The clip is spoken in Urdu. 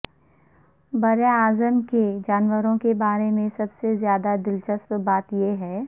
براعظم کے جانوروں کے بارے میں سب سے زیادہ دلچسپ بات یہ ہے